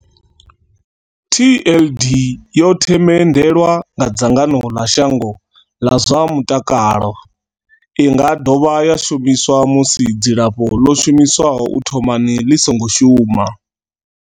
TLD yo themendelwa nga dzangano ḽa shango ḽa zwa mutakalo. I nga dovha ya shumiswa musi dzilafho ḽo shumiswaho u thomani ḽi songo shuma.